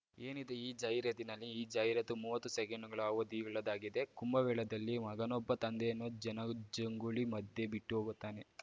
ಏನಿದೆ ಈ ಜಾಹೀರಾತಿನಲ್ಲಿ ಈ ಜಾಹೀರಾತು ಮುವತ್ತು ಸೆಕೆಂಡುಗಳ ಅವಧಿಯುಳ್ಳದ್ದಾಗಿದೆ ಕುಂಭಮೇಳದಲ್ಲಿ ಮಗನೊಬ್ಬ ತಂದೆಯನ್ನು ಜನಜಂಗುಳಿ ಮಧ್ಯೆ ಬಿಟ್ಟು ಹೋಗುತ್ತಾನೆ